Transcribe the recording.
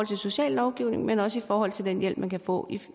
til sociallovgivningen men også i forhold til den hjælp man kan få